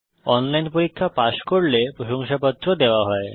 online পরীক্ষা pass করলে প্রশংসাপত্র দেওয়া হয়